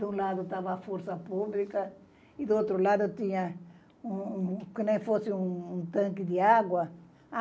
Do lado estava a Força Pública e do outro lado tinha um um como se fosse um um tanque de água.